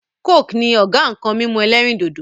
"coke" ni Ọ̀gá nkan mímu ẹlẹ́rìndòdò